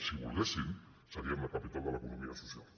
si volguessin seríem la capital de l’economia social